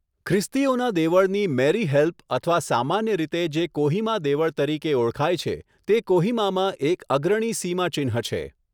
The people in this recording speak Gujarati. ખ્રિસ્તીઓનાં દેવળની મેરી હેલ્પ અથવા સામાન્ય રીતે જે કોહિમા દેવળ તરીકે ઓળખાય છે, તે કોહિમામાં એક અગ્રણી સીમાચિહ્ન છે.